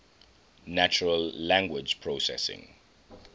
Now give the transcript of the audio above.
natural language processing